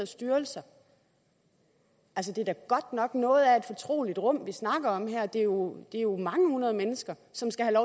styrelser altså det er da godt nok noget af et fortroligt rum vi snakker om her det er jo jo mange hundrede mennesker som skal have